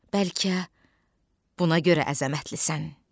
Bəlkə buna görə əzəmətlisən?